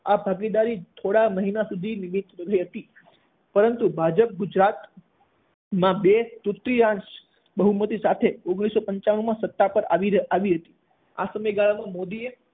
આ ભાગીદારી થોડા મહિના સુધી નિમિત્ત હતી પરંતુ ભાજપ ગુજરાત માં બે તૃતીયાંશ બહુમતી સાથે ઓગણીસો પંચાણુંમાં સત્તા પર આવી~આવી હતી. આ સમયગાળામાં મોદીએ